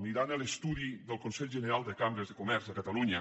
mirant l’estudi del consell general de cambres de comerç de catalunya